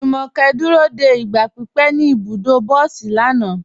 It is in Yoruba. Jùmọ́kẹ́ dúró dé igba pípẹ̀ ní ibùdọ̀ bọ̀sí lànà.